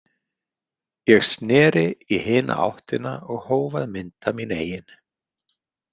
Ég sneri í hina áttina og hóf að mynda mín eigin.